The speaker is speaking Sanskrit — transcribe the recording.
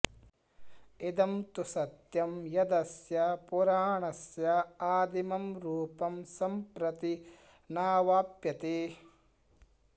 इदं तु सत्यम् यदस्य पुराणस्यादिमं रूपं सम्प्रति नावाप्यते